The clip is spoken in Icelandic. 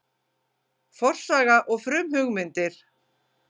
Forsaga og frumhugmyndir